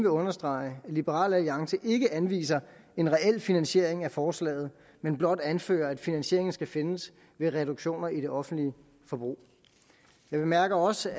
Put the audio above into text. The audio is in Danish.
understrege at liberal alliance ikke anviser en reel finansiering af forslaget men blot anfører at finansieringen skal findes ved reduktioner i det offentlige forbrug jeg bemærker også